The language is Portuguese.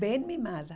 Bem mimada.